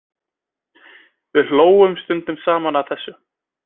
Við hlógum stundum saman að þessu.